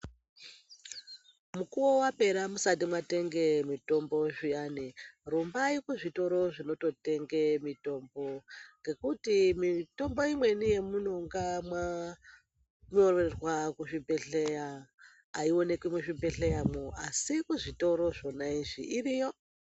Mukuwo wapera musati mwatenge mitombo zviyani rumbai kuzvitoro zvinototenge mutombo ngekuti mitombo imweni yemunonga mwanyorerwa kuzvibhedhleya aioneki muzvibhedhleyamwo asi muzvitoro zvona izvi iriyo.